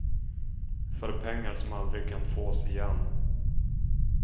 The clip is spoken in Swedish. För pengar som aldrig kan fås igen.